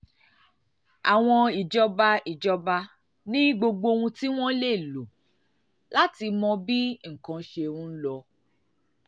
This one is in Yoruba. àwọn ìjọba ìjọba ní gbogbo ohun tí wọ́n lè lò láti mọ bí nǹkan ṣe ń lọ